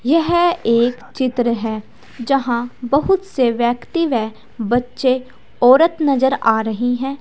यह एक चित्र है जहां बोहुत से व्यक्ति व बच्चे औरत नजर आ रही हैं।